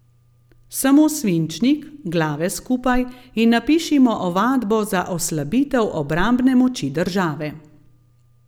Samo svinčnik, glave skupaj in napišimo ovadbo za oslabitev obrambne moči države.